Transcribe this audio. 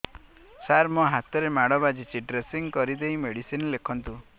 ସାର ମୋ ହାତରେ ମାଡ଼ ବାଜିଛି ଡ୍ରେସିଂ କରିଦେଇ ମେଡିସିନ ଲେଖନ୍ତୁ